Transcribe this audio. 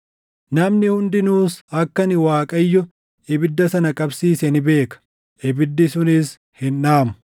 Namni hundinuus akka ani Waaqayyo ibidda sana qabsiise ni beeka; ibiddi sunis hin dhaamu.’ ”